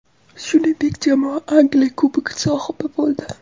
Shuningdek, jamoa Angliya Kubogi sohibi bo‘ldi .